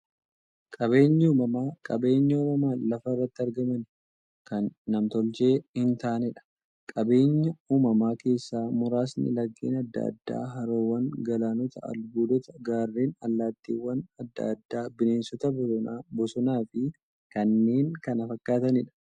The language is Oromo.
Qaabeenyi uumamaa qabeenya uumamaan lafa irratti argamanii, kan nam-tolchee hintaaneedha. Qabeenya uumamaa keessaa muraasni; laggeen adda addaa, haroowwan, galaanota, albuudota, gaarreen, allattiiwwan adda addaa, bineensota bosonaa, bosonafi kanneen kana fakkataniidha.